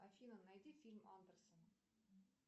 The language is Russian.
афина найди фильм андерсен